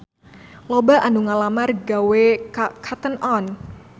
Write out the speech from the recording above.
Loba anu ngalamar gawe ka Cotton On